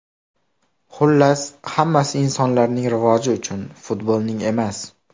Xullas, hammasi insonlarning rivoji uchun, futbolning emas!